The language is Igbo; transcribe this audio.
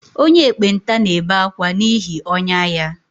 Onye ekpenta na-ebe akwa n’ihi ọnyá ya